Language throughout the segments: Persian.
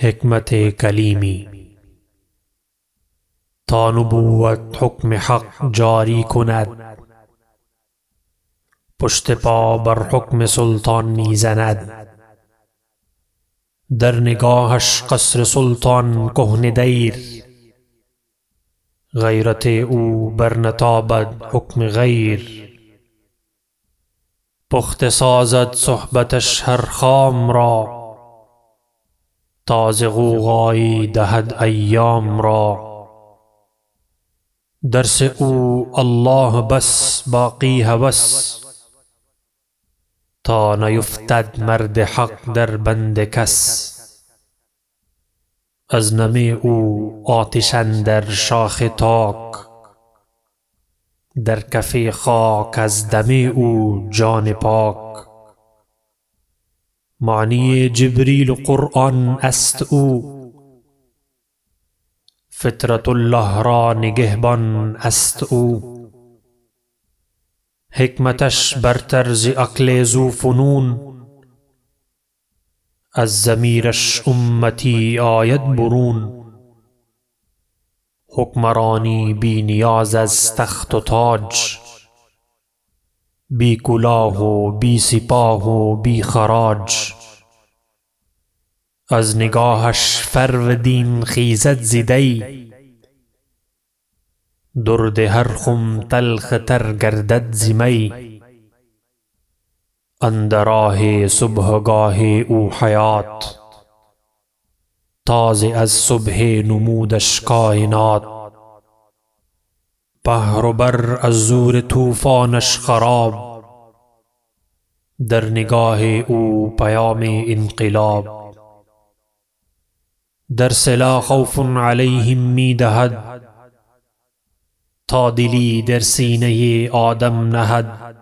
تا نبوت حکم حق جاری کند پشت پا بر حکم سلطان میزند در نگاهش قصر سلطان کهنه دیر غیرت او بر نتابد حکم غیر پخته سازد صحبتش هر خام را تازه غوغایی دهد ایام را درس او الله بس باقی هوس تا نیفتد مرد حق در بند کس از نم او آتش اندر شاخ تاک در کف خاک از دم او جان پاک معنی جبریل و قرآن است او فطرة الله را نگهبان است او حکمتش برتر ز عقل ذوفنون از ضمیرش امتی آید برون حکمرانی بی نیاز از تخت و تاج بی کلاه و بی سپاه و بی خراج از نگاهش فرودین خیزد ز دی درد هر خم تلخ تر گردد ز می اندر آه صبحگاه او حیات تازه از صبح نمودش کاینات بحر و بر از زور طوفانش خراب در نگاه او پیام انقلاب درس لا خوف علیهم می دهد تا دلی در سینه آدم نهد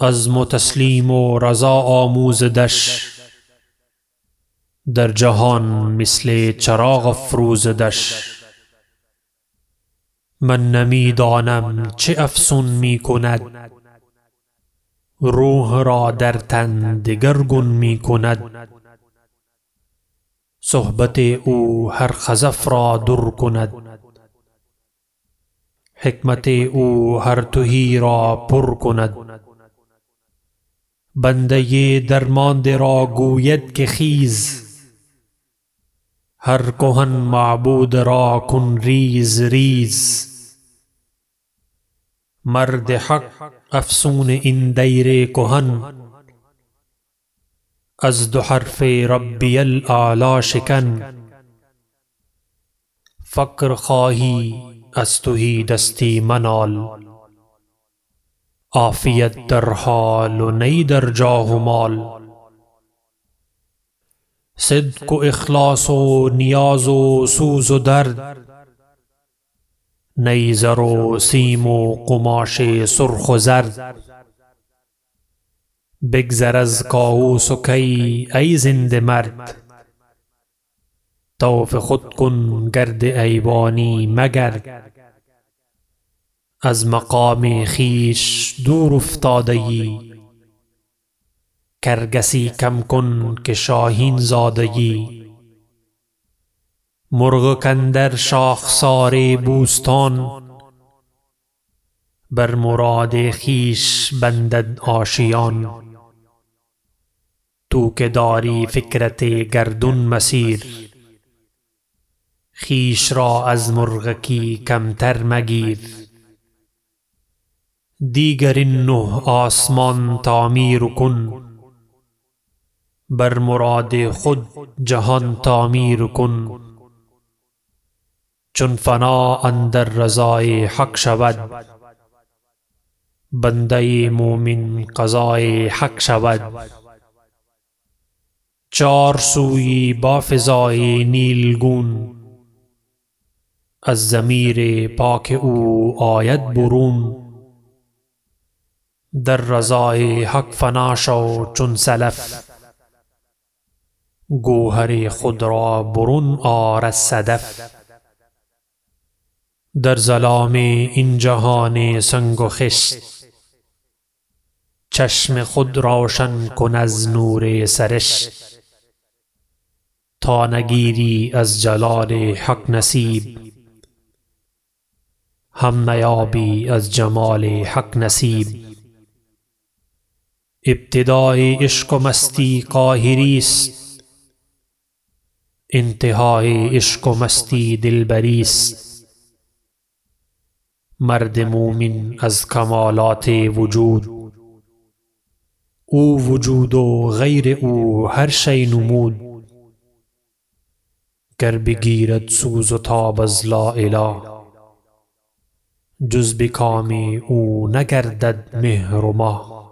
عزم و تسلیم و رضا آموزدش در جهان مثل چراغ افروزدش من نمیدانم چه افسون می کند روح را در تن دگرگون می کند صحبت او هر خزف را در کند حکمت او هر تهی را پر کند بنده درمانده را گوید که خیز هر کهن معبود را کن ریز ریز مرد حق افسون این دیر کهن از دو حرف ربی الاعلی شکن فقر خواهی از تهی دستی منال عافیت در حال و نی در جاه و مال صدق و اخلاص و نیاز و سوز و درد نی زر و سیم و قماش سرخ و زرد بگذر از کاؤس و کی ای زنده مرد طوف خود کن گرد ایوانی مگرد از مقام خویش دور افتاده یی کرگسی کم کن که شاهین زاده یی مرغک اندر شاخسار بوستان بر مراد خویش بندد آشیان تو که داری فکرت گردون مسیر خویش را از مرغکی کمتر مگیر دیگر این نه آسمان تعمیر کن بر مراد خود جهان تعمیر کن چون فنا اندر رضای حق شود بنده مؤمن قضای حق شود چار سوی با فضای نیلگون از ضمیر پاک او آید برون در رضای حق فنا شو چون سلف گوهر خود را برون آر از صدف در ظلام این جهان سنگ و خشت چشم خود روشن کن از نور سرشت تا نگیری از جلال حق نصیب هم نیابی از جمال حق نصیب ابتدای عشق و مستی قاهری است انتهای عشق و مستی دلبری است مرد مؤمن از کمالات وجود او وجود و غیر او هر شی نمود گر بگیرد سوز و تاب از لااله جز بکام او نگردد مهر و مه